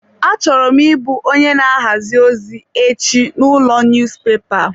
Achọrọ m ị bụ onye na ahazi ozi echi n'ụlọ niyuzupepa.